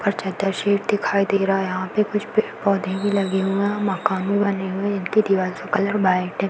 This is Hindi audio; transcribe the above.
और चद्दर शीट दिखाई दे रहा है यहाँ पे। कुछ पेड़ पौधे भी लगे हुए हैं। माकन भी बने हुए हैं। इनकी दीवार का कलर वाइट है।